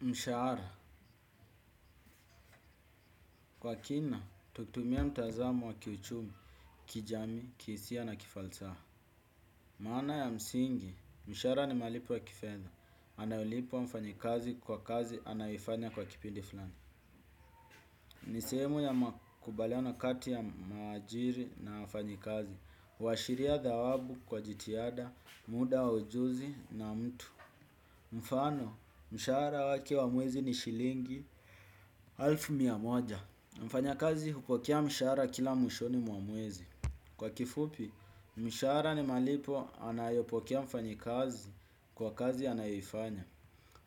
Mshahara. Kwa kina, tukitumia mtazamo wa kiuchumi, kijamii, kihisia na kifalsaha. Maana ya msingi, mshahara ni malipo ya kifedha. Inayolipwa mfanyikazi kwa kazi anayoifanya kwa kipindi fulani. Ni sehemu ya makubaliano kati ya muajiri na wafanyikazi. Huashiria thawabu kwa jitihada, muda wa ujuzi na mtu. Mfano, mshahara wake wa mwezi ni shilingi alfu mia moja. Mfanyakazi hupokea mshahara kila mwishoni mwa mwezi. Kwa kifupi, mshahara ni malipo anayopokea mfanyikazi kwa kazi anayoifanya.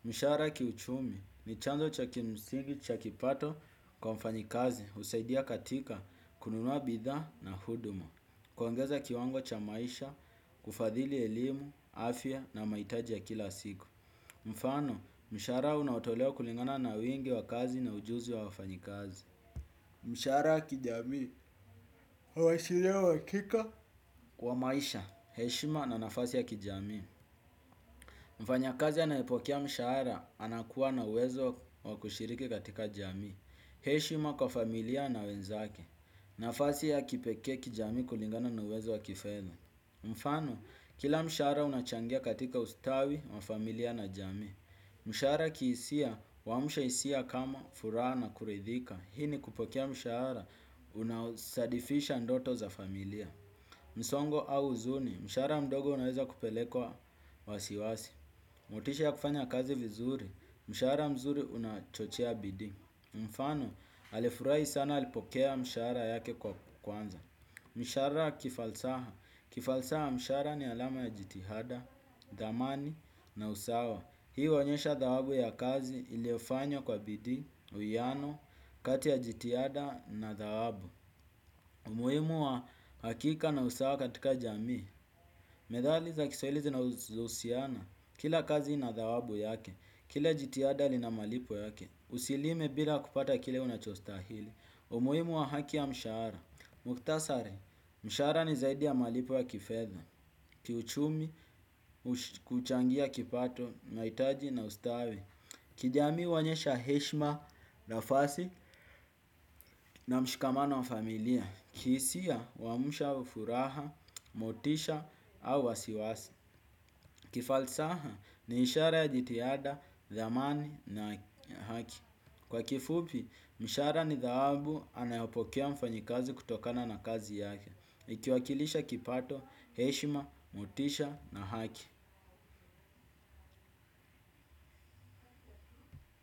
Mshahara kiuchumi ni chanzo cha kimsingi cha kipato kwa mfanyikazi. Husaidia katika kununua bidhaa na huduma. Kuongeza kiwango cha maisha, kufadhili elimu, afya na mahitaji ya kila siku. Mfano, mshahara unaotolewa kulingana na wingi wa kazi na ujuzi wa wafanyikazi. Mshahara kijamii, huashiria uhakika wa maisha, heshima na nafasi ya kijamii. Mfanyakazi anayepokea mshahara, anakuwa na uwezo wa kushiriki katika jamii. Heshima kwa familia na wenzake, nafasi ya kipekee kijamii kulingana na uwezo wa kifedha. Mfano, kila mshahara unachangia katika ustawi, wa familia na jamii. Mshahara kihisia, huamsha hisia kama furaha na kuridhika. Hii ni kupokea mshahara unaosadifisha ndoto za familia. Msongo au huzuni. Mshahara mdogo unaweza kupelekwa wasiwasi. Motisha ya kufanya kazi vizuri. Mshahara mzuri unachochea bidii. Mfano, alifurahi sana alipokea mshahara yake kwa kwanza. Mshahara kifalsaha. Kifalsaha mshahara ni alama ya jitihada, dhamani na usawa. Hii huonyesha thawabu ya kazi iliofanywa kwa bidii, uwiano, kati ya jitihada na thawabu. Umuhimu wa hakika na usawa katika jamii. Methali za kiswahili zinazohusiana. Kila kazi ina thawabu yake, kila jitihada lina malipo yake. Usilime bila kupata kile unachostahili. Umuhimu wa haki ya mshahara. Mukhtasari, mshahara ni zaidi ya malipo ya kifedha. Kiuchumi. Kuchangia kipato, mahitaji na ustawi. Kijamii huonyesha heshima, nafasi na mshikamano wa familia. Kihisia huamsha furaha, motisha au wasiwasi. Kifalsaha ni ishara ya jitihada, dhamani na haki. Kwa kifupi, mshahara ni dhawabu anayopokea mfanyikazi kutokana na kazi yake. Ikiwakilisha kipato, heshima, motisha na haki.